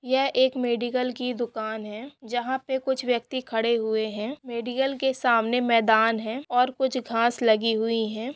यह एक मेडिकल की दुकान हैजहां पे कुछ व्यक्ति खड़े हुए है मेडिकल के सामने मैदान है और कुछ घांस लगी हुई है।